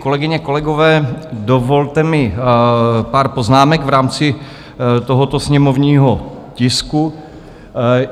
Kolegyně, kolegové, dovolte mi pár poznámek v rámci tohoto sněmovního tisku.